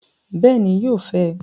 Bẹẹni, yóò fẹ